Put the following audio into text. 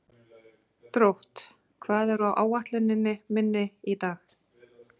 Drótt, hvað er á áætluninni minni í dag?